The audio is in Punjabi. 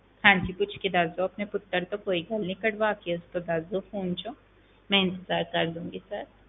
ਹਾਂਜੀ ਪੁੱਛ ਕੇ ਦੱਸ ਦਓ ਆਪਣੇ ਪੁੱਤਰ ਤੋਂ ਕੋਈ ਗੱਲ ਨੀ ਕਢਵਾ ਕੇ ਉਸ ਤੋਂ ਦੱਸ ਦਓ phone ਚੋਂ, ਮੈਂ ਇੰਤਜ਼ਾਰ ਕਰ ਲਵਾਂਗੀ sir